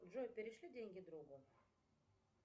джой перешли деньги другу